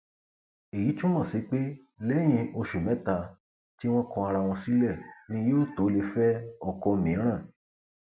èyí túmọ sí pé lẹyìn oṣù mẹta tí wọn kọ ara wọn sílẹ ni yóò tó lè fẹ ọkọ mìíràn